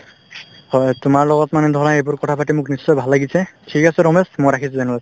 হয়, তোমাৰ লগত মানে ধৰা এইবোৰ কথাপাতি মোক নিশ্চয় ভাল লাগিছে ঠিক আছে ৰমেশ মই ৰাখিছো তেনেহলে